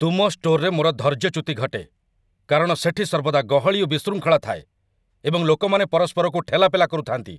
ତୁମ ଷ୍ଟୋରରେ ମୋର ଧୈର୍ଯ୍ୟଚ୍ୟୁତି ଘଟେ, କାରଣ ସେଠି ସର୍ବଦା ଗହଳି ଓ ବିଶୃଙ୍ଖଳା ଥାଏ, ଏବଂ ଲୋକମାନେ ପରସ୍ପରକୁ ଠେଲାପେଲା କରୁଥାନ୍ତି।